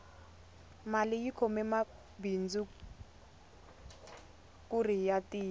mali yi khome mabindzu kuri ya tiya